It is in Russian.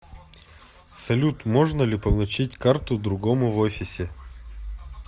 салют можно ли получить карту другому в офисе